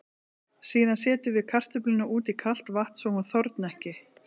Síðan setjum við kartöfluna út í kalt vatn svo hún þorni ekki.